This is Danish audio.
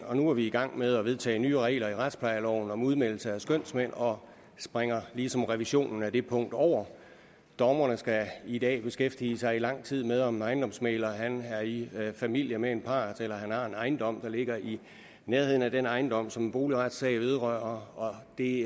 og nu er vi i gang med at vedtage nye regler i retsplejeloven om udmeldelse af skønsmænd og springer ligesom revisionen af det punkt over dommerne skal i dag beskæftige sig i lang tid med om en ejendomsmægler er i familie med en part eller om han har en ejendom der ligger i nærheden af den ejendom som en boligretssag vedrører det